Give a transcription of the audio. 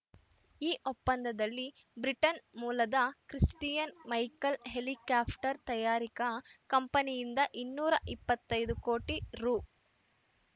ಈ ಒಪ್ಪಂದದಲ್ಲಿ ಬ್ರಿಟನ್‌ ಮೂಲದ ಕ್ರಿಸ್ಟಿಯನ್‌ ಮೈಕೆಲ್‌ ಹೆಲಿಕಾಪ್ಟರ್‌ ತಯಾರಕ ಕಂಪನಿಯಿಂದ ಇನ್ನೂರ ಇಪ್ಪತ್ತೈದು ಕೋಟಿ ರು